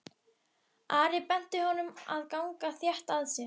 Ari benti honum að ganga þétt að sér.